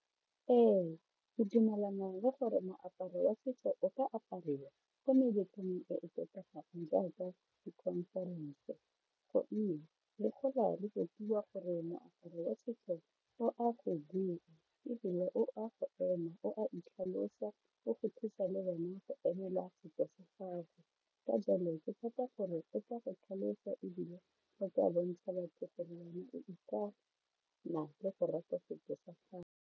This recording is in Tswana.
Ee ke dumelana le gore moaparo wa setso o ka apariwa ko meletlong e e tlotlegang jaaka di-conference gonne le gola re rutiwa gore moaparo wa setso o a ebile o a go ema o a itlhalosa o go thusa le gona go emela a setso sa gago ka jalo ke tshepa gore o ka go tlhalosa ebile o ka bontsha batho o ikana la le go rata setso sa gago.